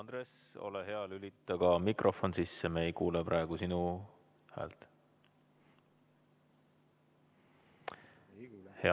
Andres, ole hea, lülita ka mikrofon sisse, me ei kuule praegu sinu häält.